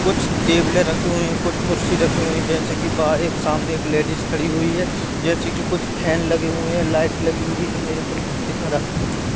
कुछ टेबलें रखी हुई हैं कुछ कुर्सी रखी हुई जैसे कि बाहर एक सामने एक लेडिज खड़ी हुई है जैसे कि कुछ फैन लगे हुए हैं लाइट लगी हुई है मेरे को दिखा रहा है।